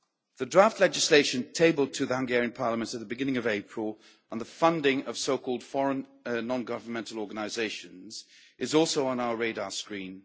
The draft legislation tabled to the Hungarian Parliament at the beginning of April on the funding of so called foreign non governmental organisations is also on our radar screen.